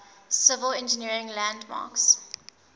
civil engineering landmarks